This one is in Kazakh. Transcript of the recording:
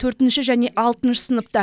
төртінші және алтыншы сыныпта